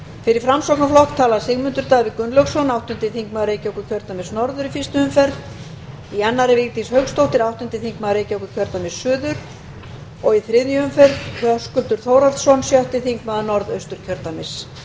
fyrir framsóknarflokk tala sigmundur davíð gunnlaugsson áttundi þingmaður reykjavíkurkjördæmis norður í fyrstu umferð í annarri vigdís hauksdóttir áttundi þingmaður reykjavíkurkjördæmis suður og í þriðju umferð höskuldur þórhallsson sjötti þingmaður norðausturkjördæmis